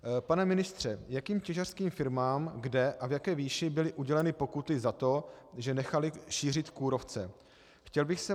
Pane ministře, jakým těžařským firmám, kde a v jaké výši byly uděleny pokuty za to, že nechaly šířit kůrovce?